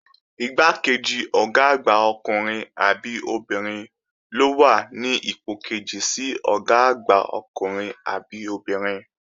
Igbákejì Ọ̀gá àgbà ọkùnrin àbí obìnrin ló wà ní ipò kejì sí Ọ̀gá àgbà ọkùnrin àbí obìnrin